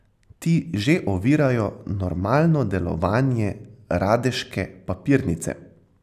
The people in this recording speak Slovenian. Ti že ovirajo normalno delovanje radeške papirnice.